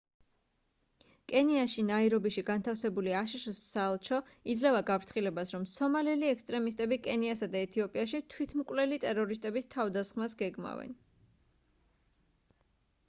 კენიაში ნაირობიში განთავსებული აშშ-ის საელჩო იძლევა გაფრთხილებას რომ სომალელი ექსტრემისტები კენიასა და ეთიოპიაში თვითმკვლელი ტერორისტების თავდასხმას გეგმავენ